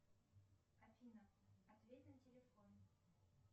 афина ответь на телефон